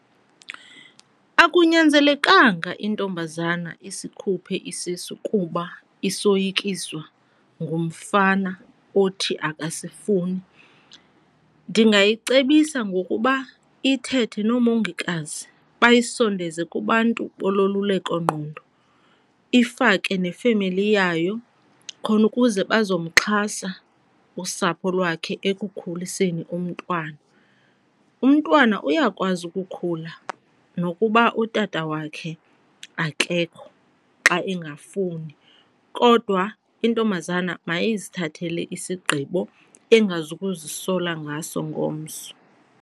Akunyanzelekanga intombazana isikhuphe isisu kuba isoyikiswa ngumfana othi akasifuni. Ndingayicebisa ngokuba ithethe noomongikazi bayisondeze kubantu bololulekongqondo, ifake nefemeli yayo khona ukuze bazomxhasa usapho lwakhe ekukhuliseni umntwana. Umntwana uyakwazi ukukhula nokuba utata wakhe akekho xa engafuni, kodwa intombazana mayizithathele isigqibo engazukuzisola ngaso ngomso.